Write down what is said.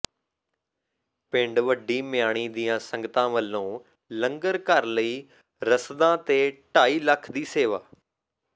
ਪਿੰਡ ਵੱਡੀ ਮਿਆਣੀ ਦੀਆਂ ਸੰਗਤਾਂ ਵੱਲੋਂ ਲੰਗਰ ਘਰ ਲਈ ਰਸਦਾਂ ਤੇ ਢਾਈ ਲੱਖ ਦੀ ਸੇਵਾ